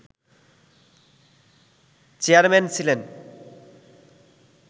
chairman ছিলেন